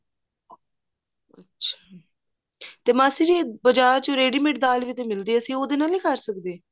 ਅੱਛਾ ਤੇ ਮਾਸੀ ਜੀ ਬਜਾਰ ਚੋਂ ready mate ਦਾਲ ਵੀ ਮਿਲਦੀ ਹੈ ਅਸੀਂ ਉਹਦੇ ਨਾਲ ਨੀ ਕਰ ਸਕਦੇ